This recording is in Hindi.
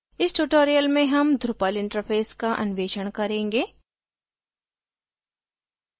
इस tutorial में हम drupal interface का अन्वेषण करेंगे